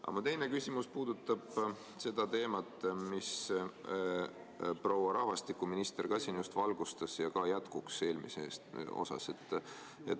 Aga mu teine küsimus puudutab seda teemat, mida proua rahvastikuminister siin just valgustas, ja on ka eelmise küsimuse jätkuks.